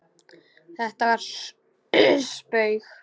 Þetta var spaug